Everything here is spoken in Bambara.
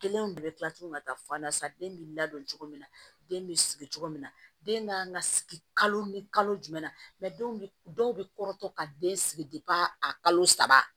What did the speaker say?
Kelenw de bɛ kila tuguni ka taa fɔ an na sisan den bɛ ladon cogo min na den bɛ sigi cogo min na den kan ka sigi kalo ni kalo jumɛn na dɔw bɛ kɔrɔtɔ ka den sigi a kalo saba